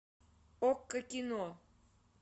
окко кино